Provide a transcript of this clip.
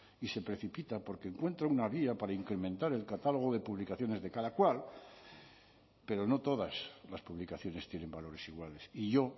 y se precipita porque encuentra una vía para incrementar el catálogo de publicaciones de cada cual pero no todas las publicaciones tienen valores iguales y yo